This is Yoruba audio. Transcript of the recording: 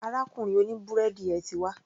Arákùnrin òní búrẹ́dì yẹn ti wá.